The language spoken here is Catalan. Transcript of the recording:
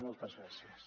moltes gràcies